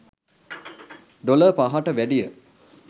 dollar පහට වැඩිය